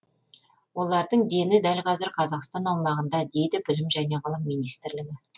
олардың дені дәл қазір қазақстан аумағында дейді білім және ғылым министрлігі